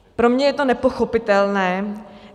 Pro mě je to nepochopitelné.